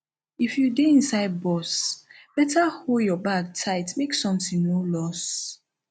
if you dey inside bus beta hold your bag tight make something no loss